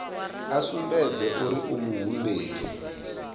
a sumbedze uri u muhumbeli